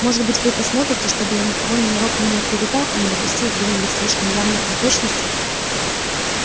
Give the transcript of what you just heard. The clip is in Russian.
может быть вы посмотрите чтобы я никого ненароком не оклеветал и не допустил где-нибудь слишком явных неточностей